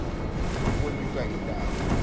ukunyuka in taba